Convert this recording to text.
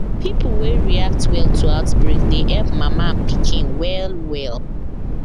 pipo wey react well to outbreak dey help mama and pikin well well